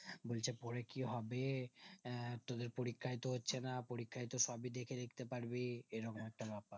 বলছে পরে কি হবে তোদের পরীক্ষায় তো হচ্ছে না পরীক্ষায় তো সবই দেখে লিখতে পারবি এইরকম একটা ব্যাপার